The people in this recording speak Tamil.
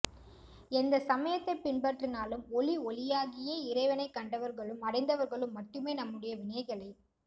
எந்த சமயத்தை பின்பற்றினாலும் ஒலி ஒளியாகியே இறைவனை கண்டவர்களும் அடைந்தவர்களும் மட்டுமே நம்முடைய வினைகளை